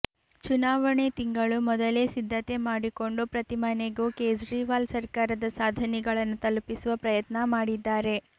ಚುನಾವಣೆ ತಿಂಗಳು ಮೊದಲೇ ಸಿದ್ಧತೆ ಮಾಡಿಕೊಂಡು ಪ್ರತಿ ಮನೆಗೂ ಕೇಜ್ರಿವಾಲ್ ಸರ್ಕಾರದ ಸಾಧನೆಗಳನ್ನು ತಲುಪಿಸುವ ಪ್ರಯತ್ನ ಮಾಡಿದ್ದಾರೆ